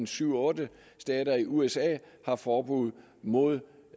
syv otte stater i usa har forbud mod